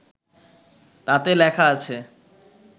তাতে লেখা আছে